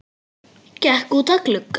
Gekk út að glugga.